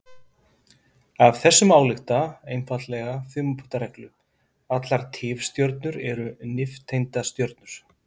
Af þessu má álykta einfalda þumalputtareglu: Allar tifstjörnur eru nifteindastjörnur.